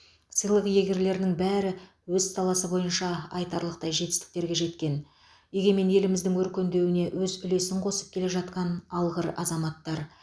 сыйлық иегерлерінің бәрі өз саласы бойынша айтарлықтай жетістіктерге жеткен егемен еліміздің өркендеуіне өз үлесін қосып келе жатқан алғыр азаматтар